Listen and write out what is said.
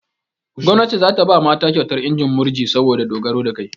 Gomnati za ta ba mata kyautar injin murji saboda dogaro da kai.